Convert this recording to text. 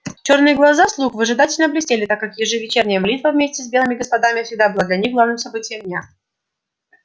чёрные глаза слуг выжидательно блестели так как ежевечерняя молитва вместе с белыми господами всегда была для них главным событием дня